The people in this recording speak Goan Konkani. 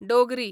डोगरी